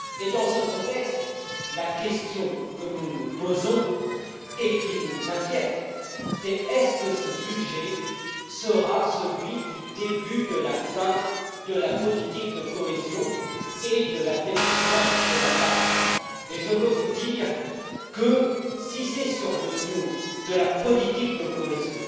Dans ce contexte, la question que nous nous posons, et qui nous inquiète, est Ce budget sera t il celui du début de la fin de la politique de cohésion et de l'affaiblissement de la PAC?. Je veux vous dire que, si c'est sur le dos de la politique de cohésion